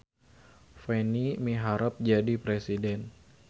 Peni miharep jadi presiden